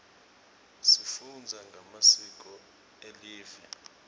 sifunza ngemasiko elive